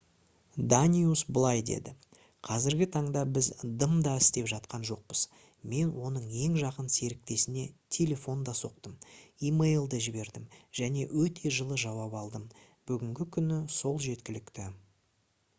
даниус былай деді: «қазіргі таңда біз дым да істеп жатқан жоқпыз. мен оның ең жақын серіктесіне телефон да соқтым имейл де жібердім және өте жылы жауап алдым. бүгінгі күні сол жеткілікті